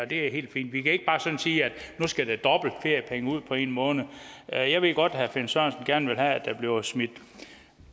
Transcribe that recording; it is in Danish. det er helt fint vi kan ikke bare sådan sige at nu skal der dobbelte feriepenge ud på en måned jeg ved godt at herre finn sørensen gerne vil have at der bliver smidt